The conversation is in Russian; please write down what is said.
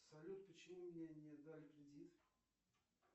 салют почему мне не дали кредит